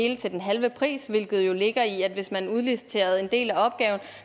hele til den halve pris hvilket jo ligger i at hvis man udliciterede en del af opgaven